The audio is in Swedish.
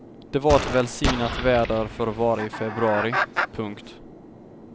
Det var ett välsignat väder för att vara i februari. punkt